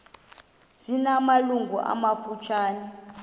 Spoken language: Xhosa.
zina malungu amafutshane